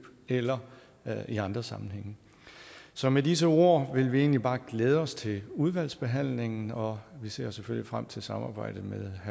eller eller i andre sammenhænge så med disse ord vil vi egentlig bare glæde os til udvalgsbehandlingen og vi ser selvfølgelig frem til samarbejdet med